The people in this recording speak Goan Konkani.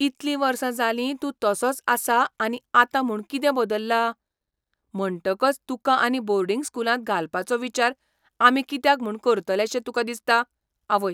इतली वर्सां जालीं तूं तसोच आसा आनी आतां म्हूण कितें बदल्ला? म्हणटकच तुका आनी बोर्डिंग स्कूलांत घालपाचो विचार आमी कित्याक म्हूण करतलेशे तुका दिसता? आवय